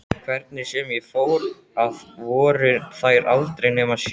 Hvernig sem ég fór að voru þær aldrei nema sjö.